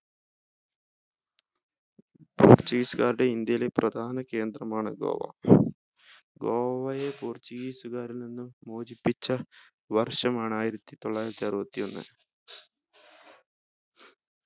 portuguese കാരുടെ ഇന്ത്യയിലെ പ്രധാന കേന്ദ്രമാണ് ഗോവ ഗോവയെ portuguese കാരിൽ നിന്നും മോചിപ്പിച്ച വർഷമാണ് ആയിരത്തിത്തൊള്ളായിരത്തി അറുപത്തി ഒന്ന്